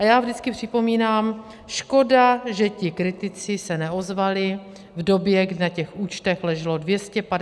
A já vždycky připomínám, škoda, že ti kritici se neozvali v době, kdy na těch účtech leželo 250 a více mld.